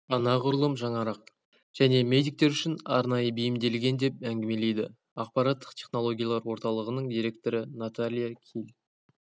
анағұрлым жаңарақ және медиктер үшін арнайы бейімделген деп әңгімелейді ақпараттық технологиялар орталығының директоры наталья киль